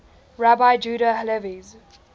rabbi judah halevi's